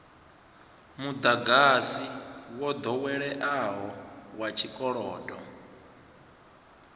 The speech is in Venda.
mudagasi wo doweleaho wa tshikolodo